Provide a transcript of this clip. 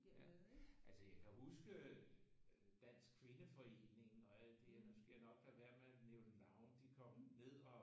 Ja altså jeg kan huske Dansk kvindeforening og alt det nu skal jeg nok lade være med at nævne navne de kom ned og